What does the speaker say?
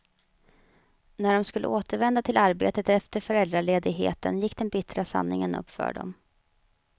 När de skulle återvända till arbetet efter föräldraledigheten gick den bittra sanningen upp för dem.